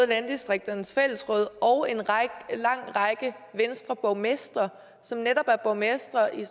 landdistrikternes fællesråd og en lang række venstreborgmestre som netop er borgmestre i